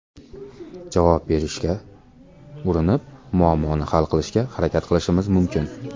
Javob berishga urinib, muammoni hal qilishga harakat qilishimiz mumkin.